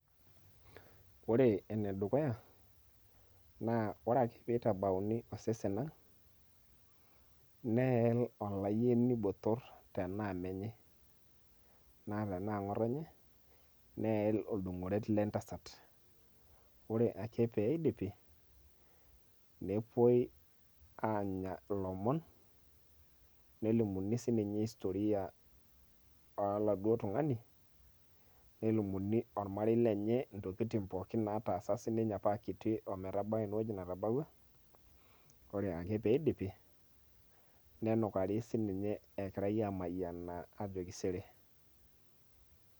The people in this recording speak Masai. Ore enedukuya, na ore ake pitabauni osesen ang',neel olayieni botor enaa menye. Na tenaa ng'otonye, neel oldung'oret lentasat. Ore ake peidipi, nepoi ang'ar ilomon, nelimuni sinye storia oladuo tung'ani, nelimuni ormarei lenye, intokiting' pookin nataasa apa nye akiti ometabau enewueji netabaua. Ore ake piidipi, nenukari sininye egirai amayianaa ajoki sere.